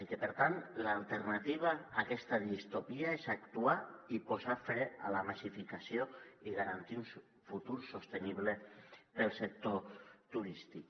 i per tant l’alternativa a aquesta distopia és actuar i posar fre a la massificació i garantir un futur sostenible per al sector turístic